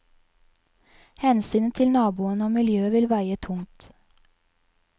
Hensynet til naboene og miljøet vil veie tungt.